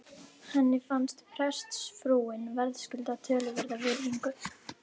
Henni fannst prestsfrúin verðskulda töluverða virðingu.